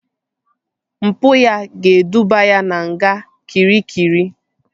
Mpụ ya ga-eduba ya na nga Kịrikịri